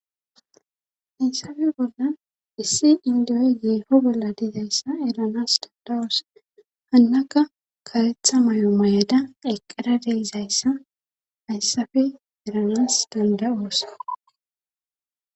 hayssafe bolla issi indiyoy geefo bolla dizayssa eranas dandawos hannaka karetha mayo may7ada eqqera deizayssa hayssafe eranas danda7oos